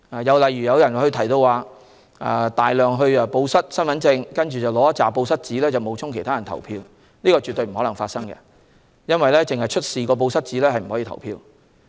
至於報失大量身份證，然後領取大量"報失紙"來冒充他人投票，這是絕不可能發生的事情，因為選民只出示"報失紙"是不能投票的。